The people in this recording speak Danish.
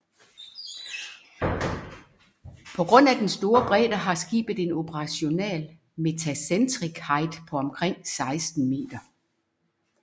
På grund af den store bredde har skibet en operational metacentric height på omtrent 16 meter